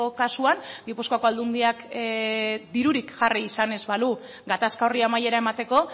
kasuan gipuzkoako aldundiak dirurik jarri izan ez balu gatazka horri amaiera emateko